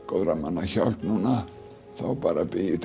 góðra manna hjálp núna þá bara bý